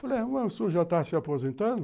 Falei, ué, o senhor já está se aposentando?